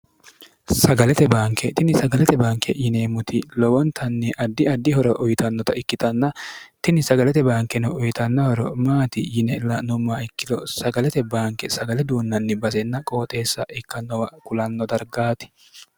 sagalete baanke tini sagalete baanke yineemmuti lowontanni addi addihora uyitannota ikkitanna tini sagalete baankeno uyitannahoro maati yine la'nummaa ikkilo sagalete baanke sagale duunnanni basenna qooxeessa ikkannowa kulanno dargaati